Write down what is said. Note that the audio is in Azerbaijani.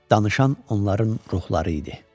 Danışan onların ruhları idi.